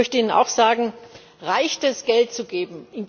Ich möchte Ihnen auch sagen Reicht es, Geld zu geben?